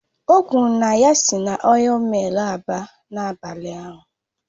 O kwuru na ya si na ọil millu abịa n'abalị a